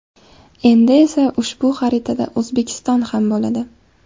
Endi esa ushbu xaritada O‘zbekiston ham bo‘ladi.